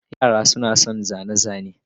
Yara suna son zane-zane.